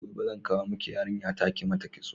Gobe zan kawo miki yarinya ta kimata kitso